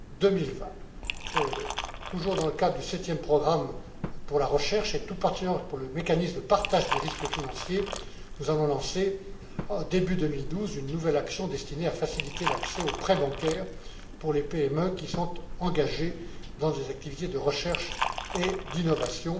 2020. Toujours dans le cadre du 7e programme pour la recherche, et tout particulièrement pour le mécanisme de partage des risques financiers, nous allons lancer, début 2012, une nouvelle action destinée à faciliter l'accès aux prêts bancaires pour les PME qui sont engagées dans des activités de recherche et d'innovation.